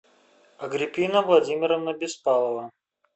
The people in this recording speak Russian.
агриппина владимировна беспалова